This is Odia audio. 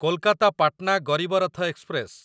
କୋଲକାତା ପାଟନା ଗରିବ ରଥ ଏକ୍ସପ୍ରେସ